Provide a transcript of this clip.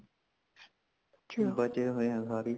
ਬਚੇ ਹੋਏ ਹਾ ਸਾਰੇਹੀ